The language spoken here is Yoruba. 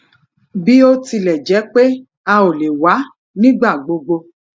bó tilè jé pé a ò lè wá nígbà gbogbo